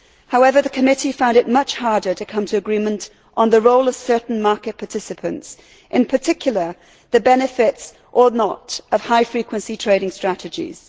However, the committee found it much harder to come to agreement on the role of certain market participants, in particular, the benefits or not of high frequency trading strategies.